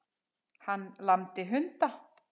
Hann lamdi hunda